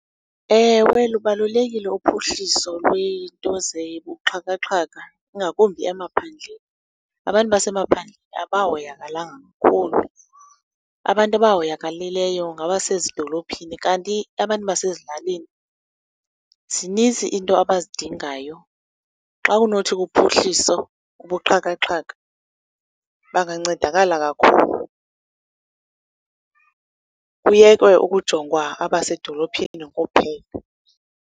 Ewe lubalulekile uphuhliso lweento zobuxhakaxhaka, ingakumbi emaphandleni. Abantu basemaphandleni abahoyakalanga kakhulu. Abantu abahoyakalileyo ngabasezidolophini, kanti abantu basezilalini zinintsi iinto abazidingayo. Xa unothi kuphuhliso ubuxhakaxhaka, bangancedakala kakhulu. Kuyekwe ukujongwa abasedolophini kuphela.